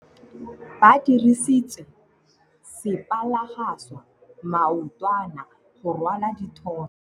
Ba dirisitse sepalangwasa maotwana go rwala dithôtô.